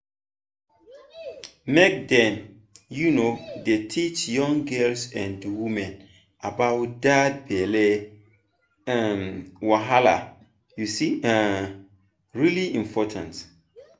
make dem um dey teach young girls and women about that belly um wahala e um really important